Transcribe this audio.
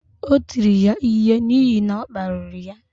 O tiri ya ihe n’ihi na ọ kparịrị ya